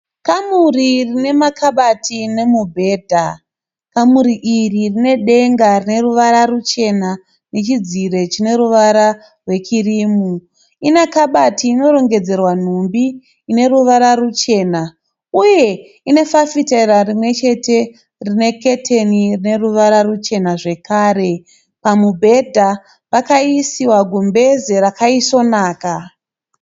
Kamuri rine makabati nemubhedha. Kamuri iri rine denga rine ruvara ruchena nechidziro chine ruvara rwekirimu. Ine kabati inorongedzerwa nhumbi ine ruvara ruchena uye rine fafitera rimwe chete rine keteni rine ruvara ruchena zvakare. Pamubhedha pakaisiwa gumbeze rakaisvonaka.